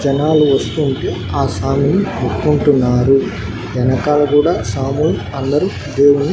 జనాలు వస్తూ ఉంటే ఆ స్వామిని ముట్టుకుంటున్నారు వెనకాల కూడా స్వామిని అందరూ భూమి--